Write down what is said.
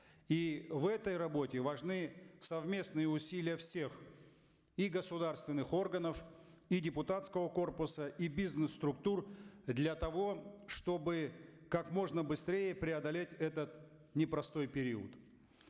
и в этой работе важны совместные усилия всех и государственных органов и депутатского корпуса и бизнес структур для того чтобы как можно быстрее преодолеть этот непростой период